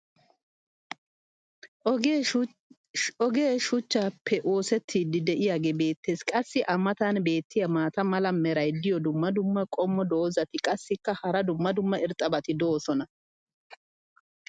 ogee shuchchaappe oosettidii diyaagee beetees. qassi a matan beetiya maata mala meray diyo dumma dumma qommo dozzati qassikka hara dumma dumma irxxabati doosona.